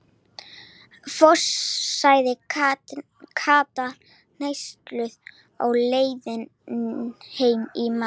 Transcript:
Fossi, sagði Kata hneyksluð á leiðinni heim í mat.